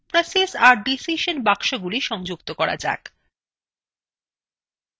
এখন process আর decision বাক্সগুলি সংযুক্ত করা যাক